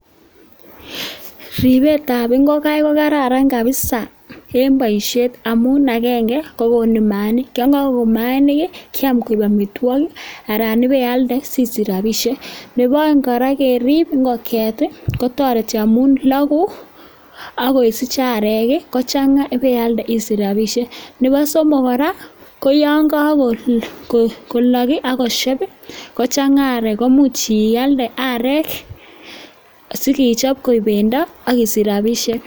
Ribetab ingogaik ko kararan kabisa en boishet amun agenge ko; konu mainik, yon kogogon mainik ii kyam koik amitwogik anan ibealde si sich rabisheck. Ne bo oeng' kora, kerib ingongyet ii kotoreti amun logu ak kosich arek ii, kochang'a ibealde isich rabishek. Nebo somok kora ko yon kogolok agosheb ii kochang'a arek komuch ialde arek si kechob koik bendo ak isich rabishek.